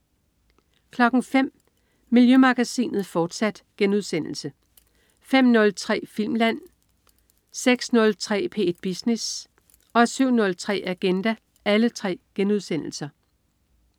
05.00 Miljømagasinet, fortsat* 05.03 Filmland* 06.03 P1 Business* 07.03 Agenda*